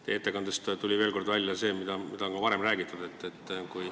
Teie ettekandest tuli veel kord välja see, mida on ka varem räägitud.